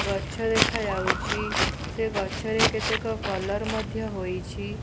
ଗଛ ଦେଖା ଯାଉଛି ସେ ଗଛରେ କେତେକ କଲର୍ ମଧ୍ୟ ହୋଇଛି।